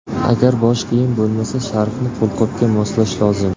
Agar bosh kiyim bo‘lmasa, sharfni qo‘lqopga moslash lozim.